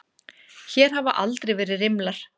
Hér hafa aldrei verið rimlar.